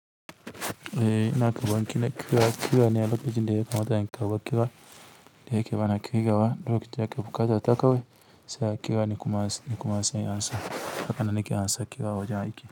Eh ina karɓan kine kira, kira ne a lokacin da yakamata in karɓa kira, da yake bana ƙirgawa lokacin da ake buƙata na kawai sai a kira ni kuma ni kuma sai in ansa hakane nake ansa kira a wajen aiki.